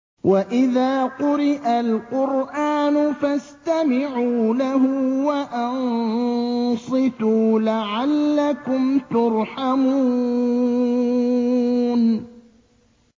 وَإِذَا قُرِئَ الْقُرْآنُ فَاسْتَمِعُوا لَهُ وَأَنصِتُوا لَعَلَّكُمْ تُرْحَمُونَ